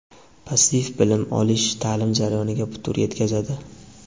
Passiv bilim olish ta’lim jarayoniga putur yetkazadi.